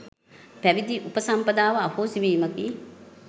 පැවිදි උපසම්පදාව අහෝසි වීමකි.